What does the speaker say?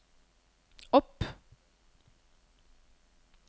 opp